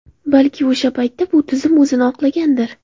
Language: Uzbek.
Balki o‘sha paytda bu tizim o‘zini oqlagandir.